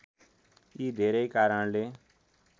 यी धेरै कारणले